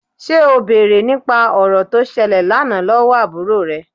Ṣé o bèrè nípa ọ̀rọ̀ tó ṣẹlẹ̀ lánàá lọ́wọ́ àbúrò rẹ?